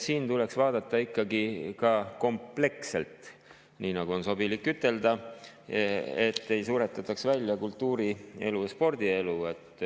Seda tuleks vaadata ikkagi ka kompleksselt, nii nagu on sobilik ütelda, et ei suretataks välja kultuurielu ja spordielu.